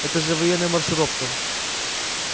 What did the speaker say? это же военная маршировка